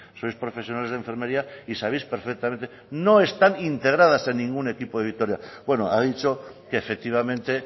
sois profesionales de enfermería y sabéis perfectamente no están integradas en ningún equipo de vitoria bueno ha dicho que efectivamente